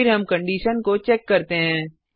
फिर हम कंडिशन को चेक करते हैं